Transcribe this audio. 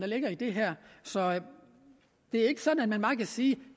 ligger i det her så det er ikke sådan at man bare kan sige